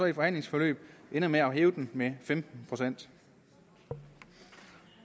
et forhandlingsforløb ender med at hæve den med femten procent jeg